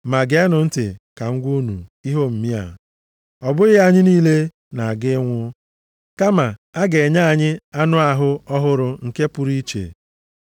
Ma geenụ ntị ka m gwa unu ihe omimi a! Ọ bụghị anyị niile na-aga ịnwụ, kama, a ga-enye anyị anụ ahụ ọhụrụ nke pụrụ iche.